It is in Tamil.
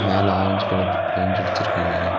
மேல ஆரஞ்சு கலர் பெயிண்ட் அடுச்சுருக்காங்க.